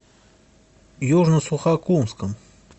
южно сухокумском